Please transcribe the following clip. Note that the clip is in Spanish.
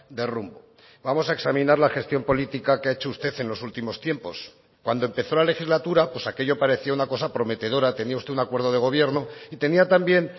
de rumbo vamos a examinar la gestión política que ha hecho usted en los últimos tiempos cuando empezó la legislatura aquello parecía una cosa prometedora tenía usted un acuerdo de gobierno y tenía también